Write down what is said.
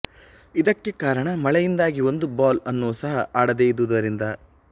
ಇದಕ್ಕೆ ಕಾರಣ ಮಳೆಯಿಂದಾಗಿ ಒಂದು ಬಾಲ್ ಅನ್ನೊ ಸಹ ಆಡದೆ ಇದ್ದುದರಿಂದ